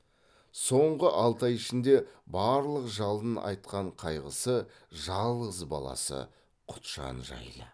соңғы алты ай ішінде барлық жалын атқан қайғысы жалғыз баласы құтжан жайы